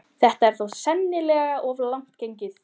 Þetta er þó sennilega of langt gengið.